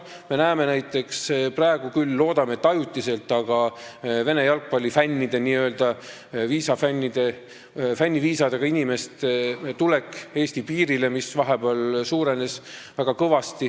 Me näeme näiteks, et praegu on küll kõvasti suurenenud – loodame, et ajutiselt – Vene jalgpallifännide, n-ö fänniviisadega inimeste tulek Eesti piirile.